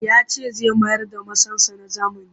Ya ce zai mayar da masansa na zamani